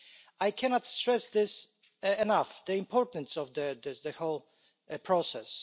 I cannot stress enough the importance of the whole process.